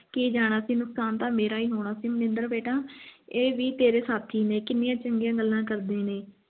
ਕੀ ਜਾਣਾ ਸੀ ਨੁਕਸਾਨ ਤੇ ਮੇਰਾ ਹੀ ਹੋਣਾ ਸੀ ਮਨਿੰਦਰ ਬਿੱਟਾ ਇਹ ਵੀ ਤੇਰੇ ਸਾਥੀ ਨੇ ਕਿੰਨੀਆਂ ਚੰਗੀਆਂ ਗੱਲਾਂ ਕਰਦੇ ਨੇ